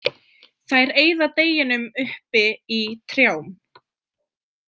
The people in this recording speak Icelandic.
Þær eyða deginum uppi í trjám.